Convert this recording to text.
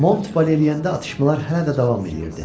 Mont Valeriyəndə atışmalar hələ də davam edirdi.